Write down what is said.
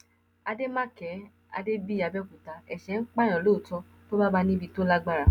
àdèmàkè adébíyì àbẹòkúta ẹṣẹ ń pààyàn lóòótọ tó bá bá ní níbi tó lágbára